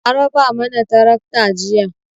An raba mana tarakta jiya.